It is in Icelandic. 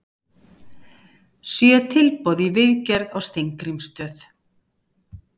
Sjö tilboð í viðgerð á Steingrímsstöð